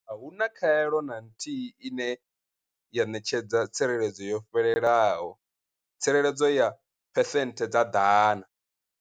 A hu na khaelo na nthihi ine ya ṋetshedza tsireledzo yo fhelelaho, tsireledzo ya phesenthe dza 100.